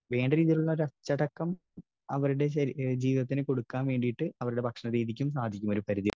Speaker 1 വേണ്ട രീതിയിലുള്ള ഒരു അച്ചടക്കം, അവരുടെ ശരീ, ജീവിതത്തിന് കൊടുക്കുവാൻ വേണ്ടിയിട്ട് അവരുടെ ഭക്ഷണ രീതിക്ക് സാധിക്കും ഒരു പരിധിവരെ.